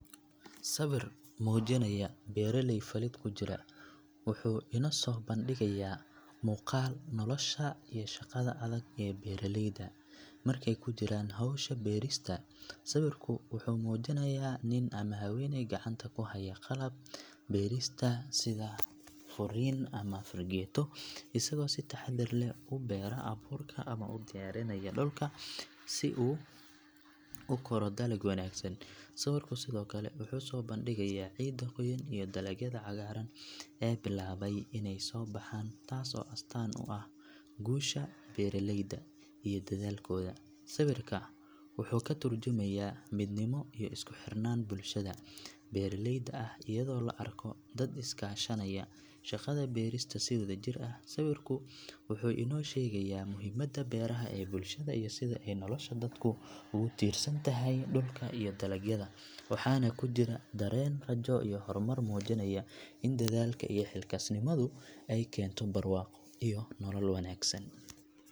Sawir muujinaya beeraley falidd kujira wuxuu inoo soo bandhigayaa muuqaal nolosha iyo shaqada adag ee beeraleyda markay ku jiraan hawsha beerista sawirku wuxuu muujinayaa nin ama haweeney gacanta ku haya qalab beerista sida furin ama fargeeto isagoo si taxaddar leh u beera abuurka ama u diyaarinaya dhulka si uu u koro dalag wanaagsan sawirku sidoo kale wuxuu soo bandhigayaa ciidda qoyan iyo dalagyada cagaaran ee bilaabaya inay soo baxaan taas oo astaan u ah guusha beeraleyda iyo dadaalkooda sawirka wuxuu ka tarjumayaa midnimo iyo isku xirnaan bulshada beeraleyda ah iyadoo la arko dad is kaashanaya shaqada beerista si wadajir ah sawirku wuxuu inoo sheegaya muhiimada beeraha ee bulshada iyo sida ay nolosha dadku ugu tiirsan tahay dhulka iyo dalagyada waxaana ku jira dareen rajo iyo horumar muujinaya in dadaalka iyo xilkasnimadu ay keento barwaaqo iyo nolol wanaagsan.